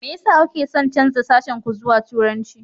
Me yasa kuke son canza sashen ku zuwa Turanci?